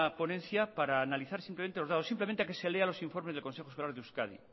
ponencia para analizar simplemente los datos simplemente a que se lea los informes del consejo escolar de euskadi